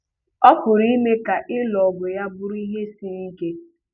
Ọ pụrụ ime ka ịlụ ọgụ ya bụrụ ihe siri ike.